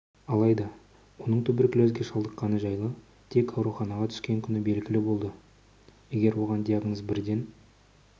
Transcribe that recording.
алайда оның туберкулезге шалдыққаны жайлы тек ауруханаға түскен күні белгілі болды егер оған диагноз бірден